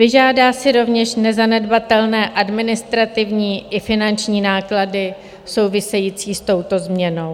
Vyžádá si rovněž nezanedbatelné administrativní i finanční náklady související s touto změnou.